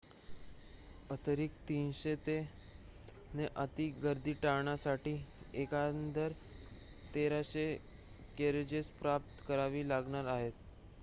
अतिरिक्त 300 ने अति गर्दी टाळण्यासाठी एकंदर 1,300 कॅरेजेस प्राप्त करावी लागणार आहेत